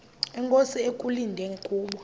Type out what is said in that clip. inkosi ekulindele kubo